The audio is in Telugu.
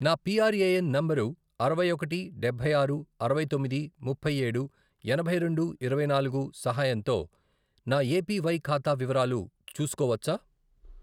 నేను పిఆర్ఏఎన్ నంబరు అరవై ఒకటి, డబ్బై ఆరు, అరవై తొమ్మిది, ముప్పై ఏడు, ఎనభై రెండు, ఇరవై నాలుగు, సహాయంతో నా ఏపివై ఖాతా వివరాలు చూసుకోవచ్చా?